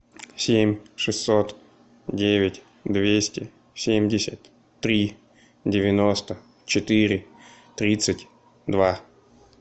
семь шестьсот девять двести семьдесят три девяносто четыре тридцать два